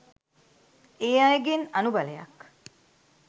ඒ අයගෙන් අනුබලයක්